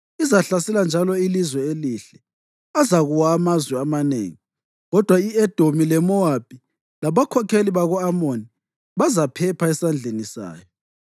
Izahlasela njalo iLizwe Elihle. Azakuwa amazwe amanengi, kodwa i-Edomi leMowabi labakhokheli bako-Amoni bazaphepha esandleni sayo.